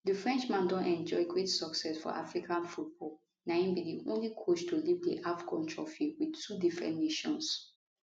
di frenchman don enjoy great success for african football na im be di only coach to lift di afcon trophy wit two different nations